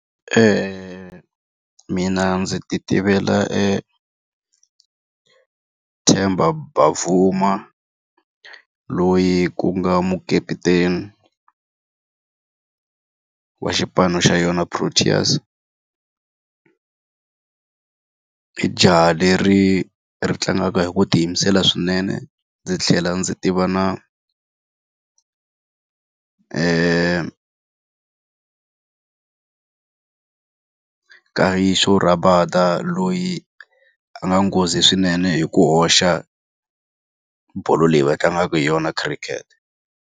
Mina ndzi ti tivela e Themba Bavuma loyi ku nga mukaputeni wa xipano xa yona Proteas. I jaha leri ri tlangaka hi ku tiyimisela swinene. Ndzi tlhela ndzi tiva na Kagiso Rabada loyi a nga nghozi swinene hi ku hoxa bolo leyi va tlangaka hi yona khirikhete.